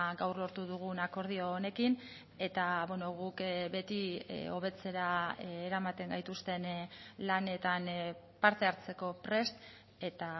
gaur lortu dugun akordio honekin eta guk beti hobetzera eramaten gaituzten lanetan parte hartzeko prest eta